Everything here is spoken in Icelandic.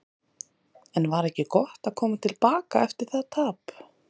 En var ekki gott að koma til baka eftir það tap?